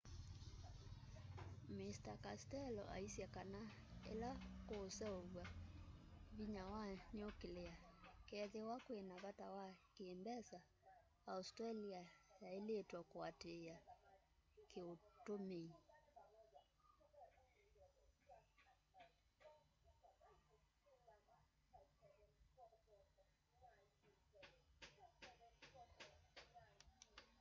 mr castello aisye kana ila kuseuvya vinya wa nuclear kwethiwa kwina vata wa ki mbesa australia yailitwe kuatiia kuutumia